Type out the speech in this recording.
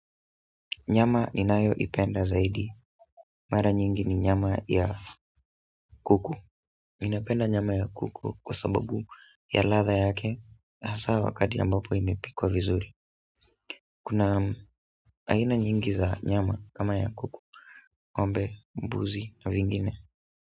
Nyama ninayo ipenda zaidi. Mara nyingi ni nyama ya kuku. Ninapenda nyama ya kuku kwa sababu ya ladha yake. Hasa wakati ambapo imepikwa vizuri kuna aina nyingi za nyama kama ya kuku. Ng'ombe, mbuzi na wengine.